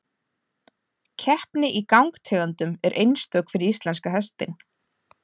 Keppni í gangtegundum er einstök fyrir íslenska hestinn.